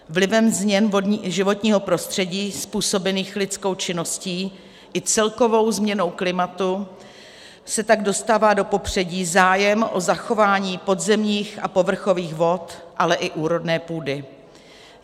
Vlivem změn životního prostředí způsobených lidskou činností i celkovou změnou klimatu se tak dostává do popředí zájem o zachování podzemních a povrchových vod, ale i úrodné půdy.